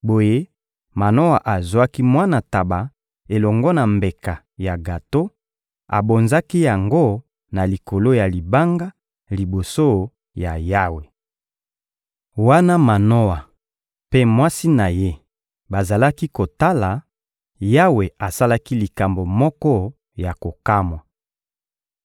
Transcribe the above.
Boye Manoa azwaki mwana ntaba elongo na mbeka ya gato, abonzaki yango na likolo ya libanga, liboso ya Yawe. Wana Manoa mpe mwasi na ye bazalaki kotala, Yawe asalaki likambo moko ya kokamwa.